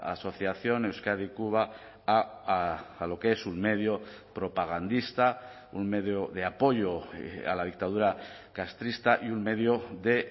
asociación euskadi cuba a lo que es un medio propagandista un medio de apoyo a la dictadura castrista y un medio de